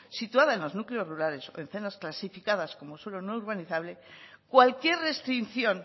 situada en los núcleos rurales o en zonas clasificadas como suelo no urbanizable cualquier restricción